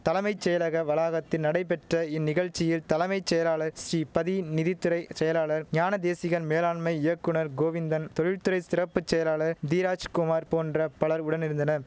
தலைமை செயலக வளாகத்தி நடைபெற்ற இந்நிகழ்ச்சியில் தலைமை செயலாளர் ஸ்ரீபதி நிதி துறை செயலாளர் ஞானதேசிகன் மேலாண்மை இயக்குநர் கோவிந்தன் தொழில்த்துறை சிறப்பு செயலாளர் தீராஜ்குமார் போன்ற பலர் உடனிருந்தனர்